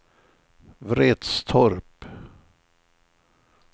Vretstorp